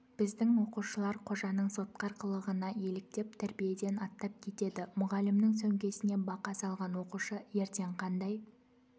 біздің оқушылар қожаның сотқар қылығына еліктеп тәрбиеден аттап кетеді мұғалімнің сөмкесіне бақа салған оқушы ертең қандай